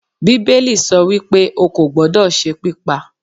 bibelí so wípe, o kọ gbódó se pipá